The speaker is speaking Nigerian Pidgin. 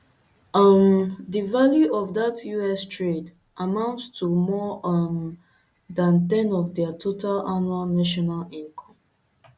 um di value of dat us trade amounts to more um dan ten of dia total annual national income